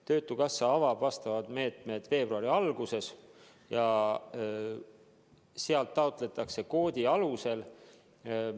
Töötukassa avab need meetmed veebruari alguses ja sealt taotletakse raha koodi alusel.